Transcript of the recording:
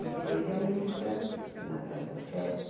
E teve a missa na Praça da Sé.